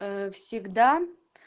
а всегда